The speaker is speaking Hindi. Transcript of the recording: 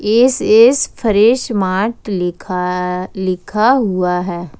एस_एस फ्रेश मार्ट लि खा लिखा हुआ है।